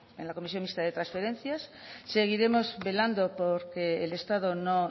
en la comisión mixta de transferencias seguiremos velando porque el estado no